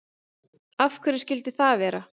Af hverju skyldi það vera?